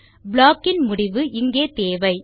block இன் முடிவு இங்கே தேவை